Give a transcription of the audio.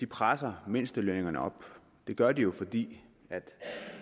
presser mindstelønnen op det gør den jo fordi